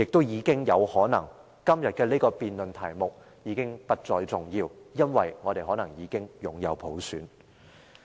而今天的辯論題目更可能已不再重要，因為我們可能已擁有普選。